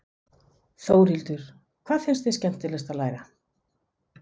Þórhildur: Hvað finnst þér skemmtilegast að læra?